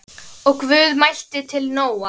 Og Guð mælti til Nóa